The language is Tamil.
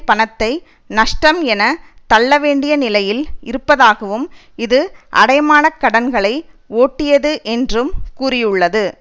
பணத்தை நஷ்டம் என தள்ள வேண்டிய நிலையில் இருப்பதாகவும் இது அடைமான கடன்களை ஒட்டியது என்றும் கூறியுள்ளது